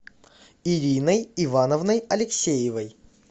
ириной ивановной алексеевой